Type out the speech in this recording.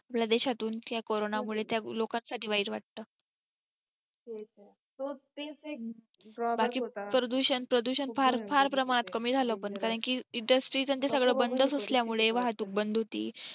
आपल्या देशातून म्हणजे corona मुळे लोकांसाठी वाईट वाटतं तेच ते drawback होता बाकी प्रदूषण प्रदूषण फार फार प्रमाणात कमी झालं पण कारण की industries आणि ते सगळं बंद असल्यामुळे वाहतूक बंद होती